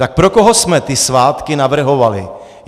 Tak pro koho jsme ty svátky navrhovali?